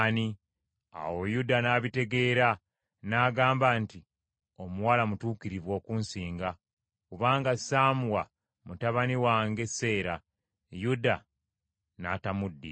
Awo Yuda n’abitegeera n’agamba nti, “Omuwala mutuukirivu okunsinga, kubanga saamuwa mutabani wange Seera.” Yuda n’atamuddira.